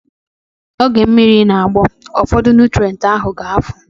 Oge mmiri na-agbọ, ụfọdụ nụtrenti ahu ga-efu